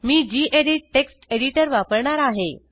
मी gedit text editor वापरणार आहे